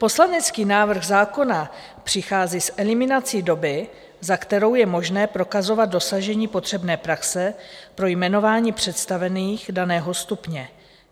Poslanecký návrh zákona přichází s eliminací doby, za kterou je možné prokazovat dosažení potřebné praxe pro jmenování představených daného stupně.